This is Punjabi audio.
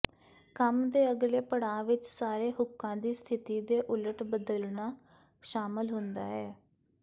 ਕੰਮ ਦੇ ਅਗਲੇ ਪੜਾਅ ਵਿੱਚ ਸਾਰੇ ਹੁੱਕਾਂ ਦੀ ਸਥਿਤੀ ਦੇ ਉਲਟ ਬਦਲਣਾ ਸ਼ਾਮਲ ਹੁੰਦਾ ਹੈ